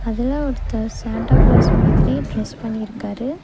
அதுல ஒருத்தர் Santa Claus மாதிரி டிரஸ் பண்ணிருக்காரு.